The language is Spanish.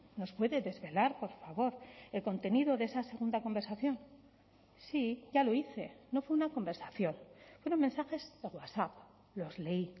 nos puede desvelar por favor el contenido de esa segunda conversación sí ya lo dice no fue una conversación fueron mensajes de wasap los leí